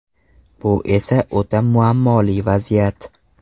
Bu esa o‘ta muammoli vaziyat.